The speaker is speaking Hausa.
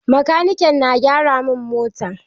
Makanikin na gyara mun mota.